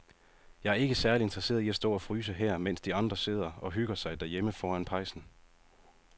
Jeg er ikke særlig interesseret i at stå og fryse her, mens de andre sidder og hygger sig derhjemme foran pejsen.